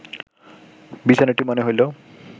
বিছানাটি মনে হইল